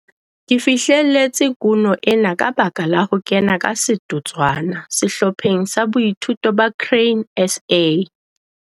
Ke fihlelletse kuno ena ka baka la ho kena ka setotswana sehlopheng sa boithuto sa Grain SA.